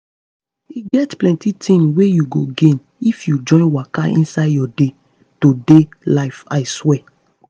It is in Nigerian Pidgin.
e get plenty thing wey you go gain if you join waka inside your day-to-day life i swear.